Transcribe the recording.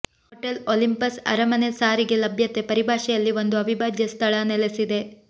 hotel Olympus ಅರಮನೆ ಸಾರಿಗೆ ಲಭ್ಯತೆ ಪರಿಭಾಷೆಯಲ್ಲಿ ಒಂದು ಅವಿಭಾಜ್ಯ ಸ್ಥಳ ನೆಲೆಸಿದೆ